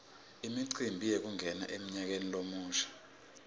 imicimbi yekungena emnyakeni lomusha